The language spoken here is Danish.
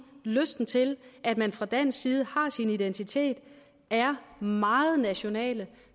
lysten til at man fra dansk side har sin identitet og er meget nationale